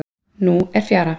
Nú er fjara.